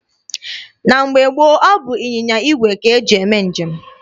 Na mgbe gboo, ọ bụ ịnyịnya igwe ka e ji eme njem.